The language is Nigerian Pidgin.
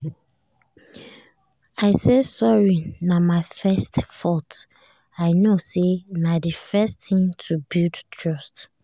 i say sorry na my fault i know say na d first thing to build trust